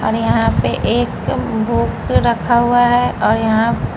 और यहाँ पे एक हुक रखा हुआ है और और यहाँ--